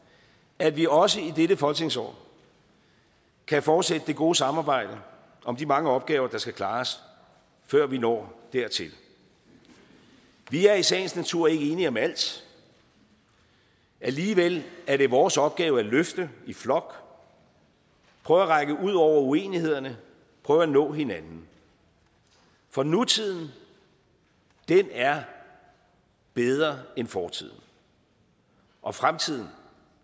at vi også i dette folketingsår kan fortsætte det gode samarbejde om de mange opgaver der skal klares før vi når dertil vi er i sagens natur ikke enige om alt alligevel er det vores opgave at løfte i flok prøve at række ud over uenighederne prøve at nå hinanden for nutiden er bedre end fortiden og fremtiden